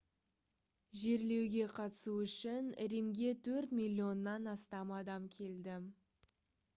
жерлеуге қатысу үшін римге төрт миллионнан астам адам келді